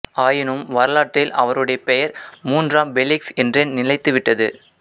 ஆயினும் வரலாற்றில் அவருடைய பெயர் மூன்றாம் ஃபெலிக்ஸ் என்றே நிலைத்துவிட்டது